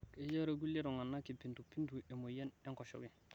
kejo irkulie tunganak kipindupindu emoyain enkoshoke